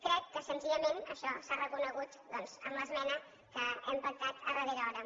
crec que senzillament això s’ha reconegut doncs amb l’esmena que hem pactat a darrera hora